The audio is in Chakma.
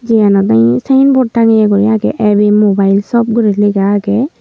iyanot olay synbot tangeyay guri aagey ab mobile shop guri lega aagey.